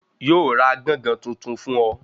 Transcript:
Yóò ra gángan tuntun fún ọ